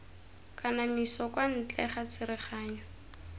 kanamiso kwa ntle ga tsereganyo